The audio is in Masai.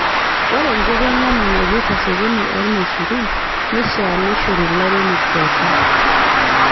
Ore enkitenena naipirta sokoni oo irmaisurin neishaa neishori lairemok pookin